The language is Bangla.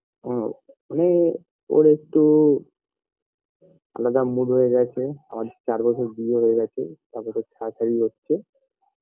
আ মানে ওর একটু আলাদা mood হয়ে গেছে আমাদের চার বছর বিয়ে হয়ে গেছে তারপরেতে ছাড়াছাড়ি হচ্ছে